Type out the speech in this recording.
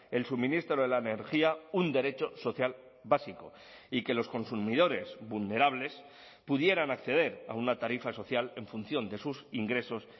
el suministro de la energía un derecho social básico y que los consumidores vulnerables pudieran acceder a una tarifa social en función de sus ingresos